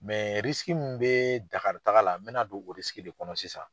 min mɛ Dakari taga la, n bɛna don o de kɔnɔ sisan.